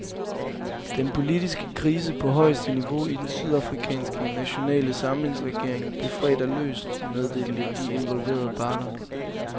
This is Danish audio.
Den politiske krise på højeste niveau i den sydafrikanske nationale samlingsregering blev fredag løst, meddelte de involverede parter.